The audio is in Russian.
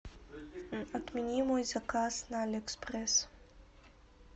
отмени мой заказ на алиэкспресс